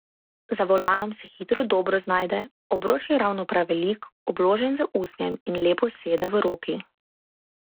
Za volanom se hitro dobro znajde, obroč je ravno prav velik, obložen z usnjem in lepo sede v roki.